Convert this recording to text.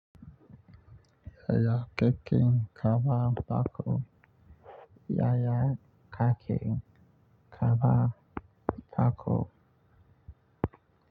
Yaya keken kaba bako yaya kaken kaba bako.